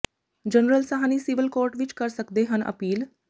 general Sahni civil court ਵਿੱਚ ਕਰ ਸਕਦੇ ਹਨ ਅਪੀਲ